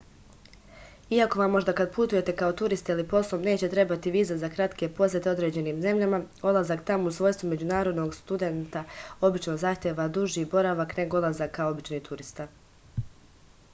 iako vam možda kad putujete kao turista ili poslom neće trebati viza za kratke posete određenim zemljama odlazak tamo u svojstvu međunarodnog studenta obično zahteva duži boravak nego odlazak kao obični turista